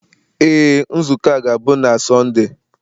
Ee, nzukọ a ga-abụ na Sọnde.